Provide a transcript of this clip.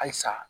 Halisa